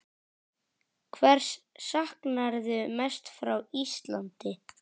Hvers saknarðu mest frá Íslandi?